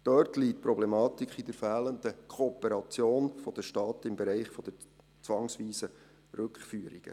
Dort liegt die Problematik in der fehlenden Kooperation der Staaten im Bereich der zwangsweisen Rückführungen.